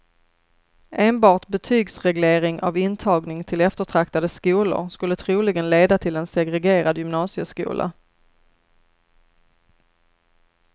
Enbart betygsreglering av intagning till eftertraktade skolor skulle troligen leda till en segregerad gymnasieskola.